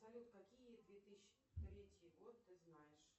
салют какие две тысячи третий год ты знаешь